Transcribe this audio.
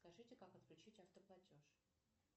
скажите как отключить автоплатеж